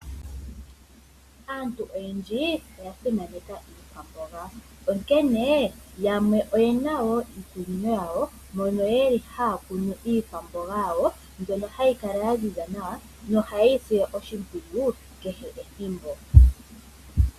Aantu oyendji oya simaneka iiwamboga, onkene yamwe oyena wo iikunino yawo mono yeli haya kunu iikwamboga yawo, mbyono hayi kala ya ziza nawa, nohaye yi sile oshimpwiyu kehe ethimbo.